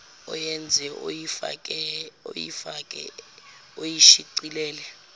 oyenze oyifake oyishicilele